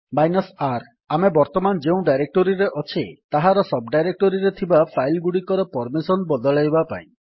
R ଆମେ ବର୍ତ୍ତମାନ ଯେଉଁ ଡାଇରେକ୍ଟୋରୀରେ ଅଛେ ତାହାର ସବ୍ ଡାଇରେକ୍ଟୋରୀରେ ଥିବା ଫାଇଲ୍ ଗୁଡିକର ପର୍ମିସନ୍ ବଦଳାଇବା ପାଇଁ